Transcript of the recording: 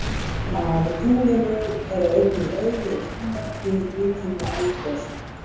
Á tunglinu eru einnig augljós ummerki mikilla eldgosa.